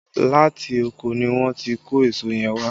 Láti oko ni wọ́n ti kó èso yẹn wá